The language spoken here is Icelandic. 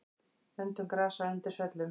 Öndun grasa undir svellum.